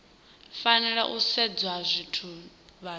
fanela u sedzwa zwine vhathu